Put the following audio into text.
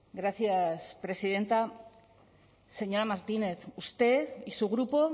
gracias presidenta señora martínez usted y su grupo